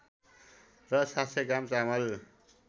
र ७०० ग्राम चामल